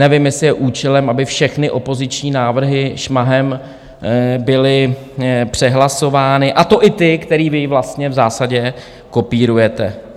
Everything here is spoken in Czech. Nevím, jestli je účelem, aby všechny opoziční návrhy šmahem byly přehlasovány, a to i ty, které vy vlastně v zásadě kopírujete.